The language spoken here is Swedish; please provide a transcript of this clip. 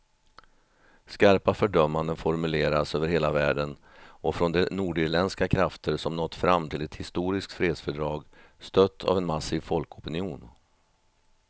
Skarpa fördömanden formuleras över hela världen och från de nordirländska krafter som nått fram till ett historiskt fredsfördrag, stött av en massiv folkopinion.